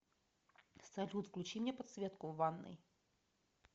салют включи мне подсветку в ванной